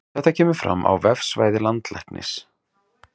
Þetta kemur fram á vefsvæði Landlæknis